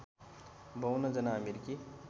५२ जना अमेरिकी